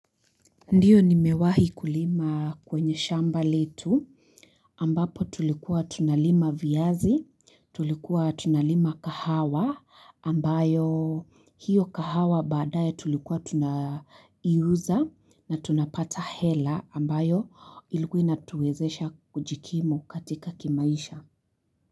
Ndiyo nimewahi kulima kwenye shamba letu ambapo tulikuwa tunalima viazi tulikuwa tunalima kahawa ambayo hiyo kahawa baadaye tulikuwa tunaiuza na tunapata hela ambayo ilikuwa inatuwezesha kujikimu katika kimaisha.